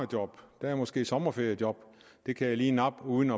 job der er måske et sommerferiejob det kan jeg lige nappe uden